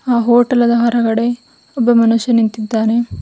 ಆ ಹೋಟೆಲದ ಹೊರಗಡೆ ಒಬ್ಬ ಮನುಷ್ಯ ನಿಂತಿದ್ದಾನೆ.